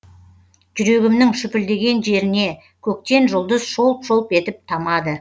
жүрегімнің шүпілдеген шеріне көктен жұлдыз шолп шолп етіп тамады